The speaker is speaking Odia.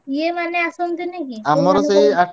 ଇଏ ମାନେ ଆସନ୍ତିନି କି